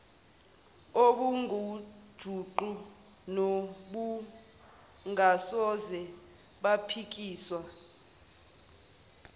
obungujuqu nobungasoze baphikiswa